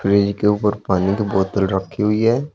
Fridge के ऊपर पानी को बोतल रखी हुई है।